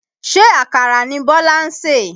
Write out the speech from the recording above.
Ṣé àkàrà ni Bọ́lá ń sè?